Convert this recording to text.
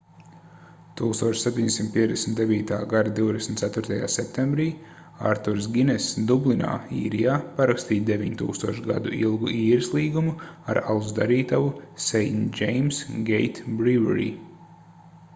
1759. gada 24. septembrī arturs giness dublinā īrijā parakstīja 9000 gadu ilgu īres līgumu ar alus darītavu st james's gate brewery